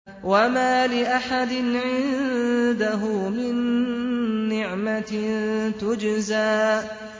وَمَا لِأَحَدٍ عِندَهُ مِن نِّعْمَةٍ تُجْزَىٰ